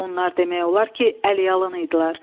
Onlar demək olar ki, əl-yalan idilər.